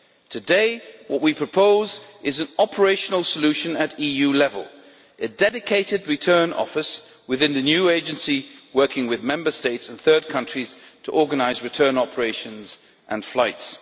Today what we propose is an operational solution at EU level a dedicated Return Office within the new Agency working with Member States and third countries to organise return operations and flights.